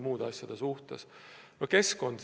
Nüüd keskkond.